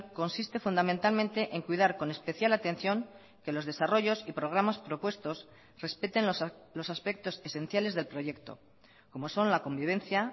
consiste fundamentalmente en cuidar con especial atención que los desarrollos y programas propuestos respeten los aspectos esenciales del proyecto como son la convivencia